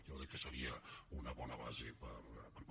jo crec que seria una bona base per parlar